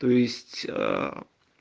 то есть аа